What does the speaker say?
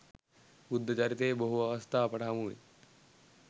බුද්ධ චරිතයේ බොහෝ අවස්ථා අපට හමුවේ.